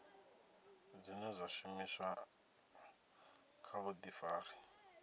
dzine dza shumiswa kha vhuḓifari